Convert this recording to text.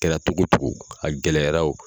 Kɛra togo togo a gɛlɛyara o